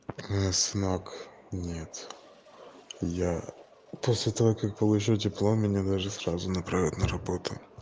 не смог нет я после того как получил диплом меня должны сразу направить на работу